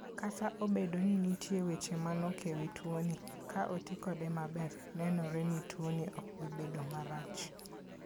Kata obedo ni nitie weche manok e wi tuoni, ka oti kode maber, nenore ni tuoni ok bi bedo marach.